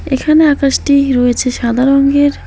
এখানে আকাশটি রয়েছে সাদা রংগের।